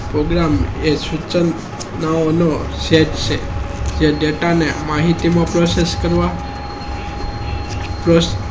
program એ sharechat એ data માં માહિતી process કરવા